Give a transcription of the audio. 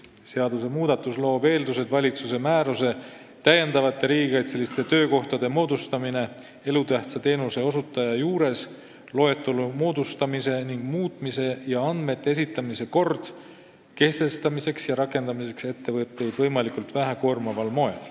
Seadusmuudatus loob eeldused valitsuse määruse "Täiendavate riigikaitseliste töökohtade moodustamine elutähtsa teenuse osutaja juures, loetelu moodustamise ning muutmise ja andmete esitamise kord" kehtestamiseks ja rakendamiseks ettevõtteid võimalikult vähe koormaval moel.